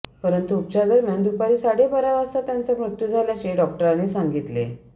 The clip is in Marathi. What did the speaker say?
परंतु उपचारादरम्यान दुपारी साडेबारा वाजता त्यांचा मृत्यू झाल्याचे डॉक्टरांनी सांगितले